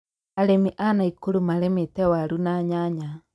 arĩmi a Nakuru marĩmĩte warũ na nyanya